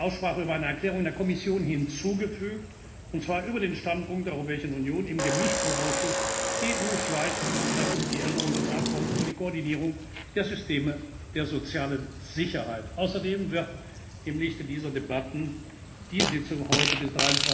eine Aussprache über eine Erklärung der Kommission hinzugefügt, und zwar über den Standpunkt der Europäischen Union im Gemischten Ausschuss EU Schweiz betreffend die Änderung des Abkommens über die Koordinierung der Systeme der sozialen Sicherheit. Außerdem wird im Lichte dieser Debatten die Sitzung heute